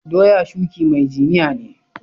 Doya shuki mai jiniya ne.